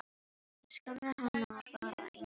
Ég skammaði hana bara eins og hund.